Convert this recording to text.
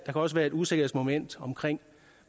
også være et usikkerhedsmoment omkring